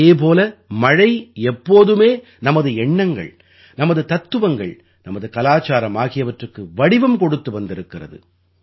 அதே போல மழை எப்போதுமே நமது எண்ணங்கள் நமது தத்துவங்கள் நமது கலாச்சாரம் ஆகியவற்றுக்கு வடிவம் கொடுத்து வந்திருக்கின்றது